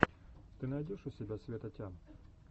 ты найдешь у себя света тям